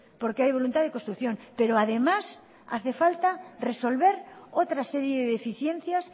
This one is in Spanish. porque hay voluntad de construcción pero además hace falta resolver otra serie de deficiencias